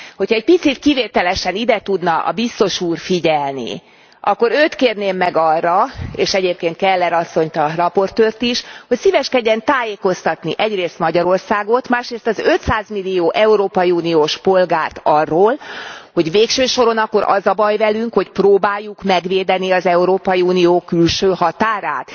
Hogyha egy picit kivételesen ide tudna a biztos úr figyelni, akkor őt kérném meg arra és egyébként Keller asszonyt, az előadót is hogy szíveskedjen tájékoztatni egyrészt Magyarországot, másrészt az 500 millió európai uniós polgárt arról, hogy végső soron akkor az e a baj velünk, hogy próbáljuk megvédeni az Európai Unió külső határát?